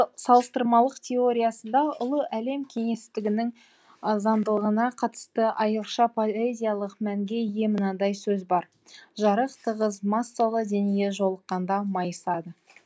салыстырмалық теориясында ұлы әлем кеңестігінің заңдылығына қатысты айрықша поэзиялық мәнге ие мынадай сөз бар жарық тығыз массалы денеге жолыққанда майысады